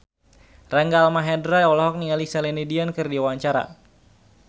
Rangga Almahendra olohok ningali Celine Dion keur diwawancara